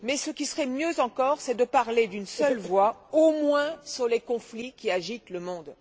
Mais ce qui serait mieux encore, c'est de parler d'une seule voix, au moins sur les conflits qui agitent le monde.